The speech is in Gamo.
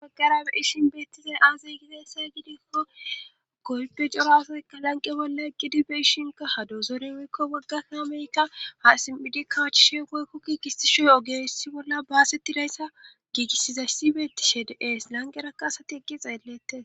Gaggarabe ishin beettizay aazey gizesa gidikko goype corafoyka lanqe bolla gidi be ishinka hadoozore woykko wagga kaameykka ha sim7idi kawachishe woykko kiigisti shoy ogessi bolla baaseti layssa giigisizay si beetti shede es lanqerakka asati iggi xeellette